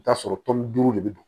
I bi t'a sɔrɔ tɔni duuru de bɛ don